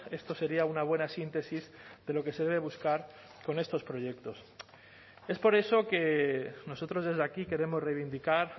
esto sería una buena síntesis de lo que se debe buscar con estos proyectos es por eso que nosotros desde aquí queremos reivindicar